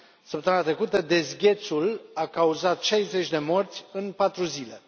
Săptămâna trecută, dezghețul a cauzat 60 de morți în patru zile.